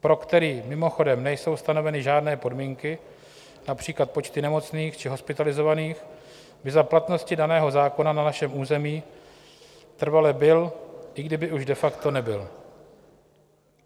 pro který mimochodem nejsou stanoveny žádné podmínky, například počty nemocných či hospitalizovaných, by za platnosti daného zákona na našem území trvale byl, i kdyby už de facto nebyl.